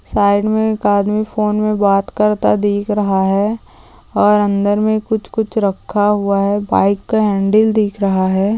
Side में एक आदमी फोन में बात करता दिख रहा है और अंदर में कुछ कुछ रखा हुआ है बाईक का हैंडल दिख रहा हैं।